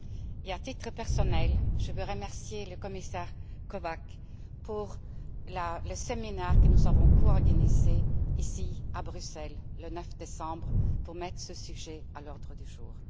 Et à titre personnel, je veux remercier le commissaire Kovács pour le séminaire que nous avons coorganisé à Bruxelles, le 9 décembre, pour mettre ce sujet à l'ordre du jour.